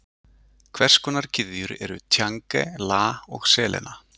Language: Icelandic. Hvers konar gyðjur eru Tjange, Lah og Selena?